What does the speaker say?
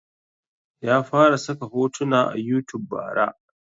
Ya fara saka hotuna a youtube bara